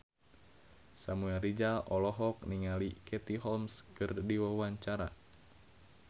Samuel Rizal olohok ningali Katie Holmes keur diwawancara